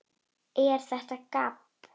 ER ÞETTA GABB?